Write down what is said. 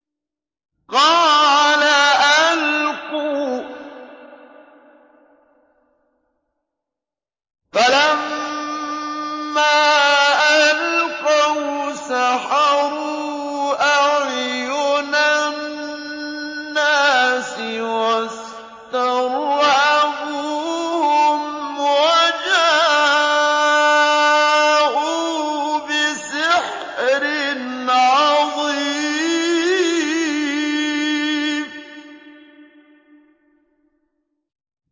قَالَ أَلْقُوا ۖ فَلَمَّا أَلْقَوْا سَحَرُوا أَعْيُنَ النَّاسِ وَاسْتَرْهَبُوهُمْ وَجَاءُوا بِسِحْرٍ عَظِيمٍ